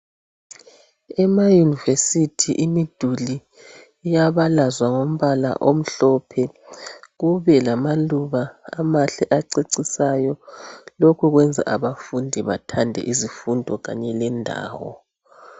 Emayunivesithi imiduli iyabalazwa ngombala omhlophe , kube lamaluba amahle acecisayo lokhu kwenza abafundi bathande izifundo kanye lendawo.